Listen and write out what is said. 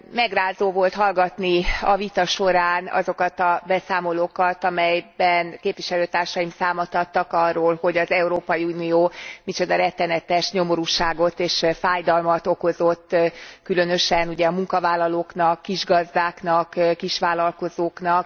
Megrázó volt hallgatni a vita során azokat a beszámolókat, amelyekben képviselőtársaim számot adtak arról, hogy az Európai Unió micsoda rettenetes nyomorúságot és fájdalmat okozott, különösen ugye a munkavállalóknak, kisgazdáknak, kisvállalkozóknak.